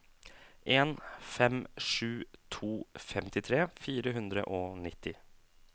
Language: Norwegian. en fem sju to femtitre fire hundre og nitti